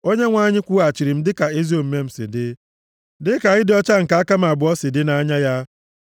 Onyenwe anyị kwụghachiri m dịka ezi omume m si dị, dịka ịdị ọcha nke aka m abụọ si dị nʼanya ya.